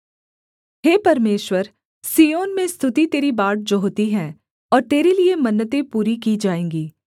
हे परमेश्वर सिय्योन में स्तुति तेरी बाट जोहती है और तेरे लिये मन्नतें पूरी की जाएँगी